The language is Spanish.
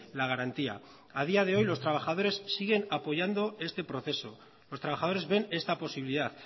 la garantía a día de hoy los trabajadores siguen apoyando este proceso los trabajadores ven esta posibilidad